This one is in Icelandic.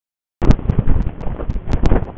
Hvenær telst kort vera í vanskilum?